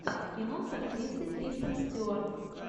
кино с актрисой кристен стюарт